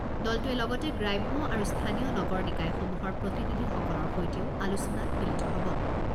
দলটোৱে লগতে গ্ৰাম্য আৰু স্থানীয় নগৰ নিকায়সমূহৰ প্ৰতিনিধিসকলৰ সৈতেও আলোচনাত মিলিত হ'ব।